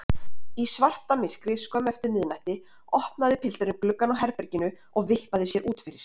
Í svartamyrkri skömmu eftir miðnætti opnaði pilturinn gluggann á herberginu og vippaði sér út fyrir.